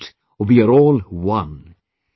And that we are all ONE